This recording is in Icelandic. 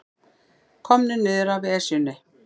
Komnir niður af Esjunni